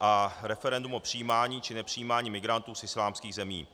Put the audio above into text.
a referendum o přijímání či nepřijímání migrantů z islámských zemí.